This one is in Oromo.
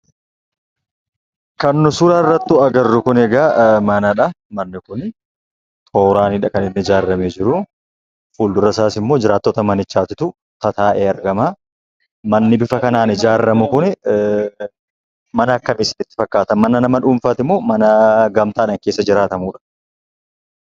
Kan nu suura irrattu agarru kun egaa manadhaa. Manni kunii tooraanidha kan in ni ijaaramee jiruu. fuuldura isaas immoo jiraattota manichaatutuu tataa'ee aragamaa. Manni bifa kanaan ijaarramu kuni mana akkamii sinitti fakkaata? mana nama dhuunfaatimoo mana gamtaadhaan keessa jiraatamudha?